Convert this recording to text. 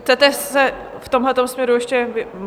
Chcete se v tomhle směru ještě...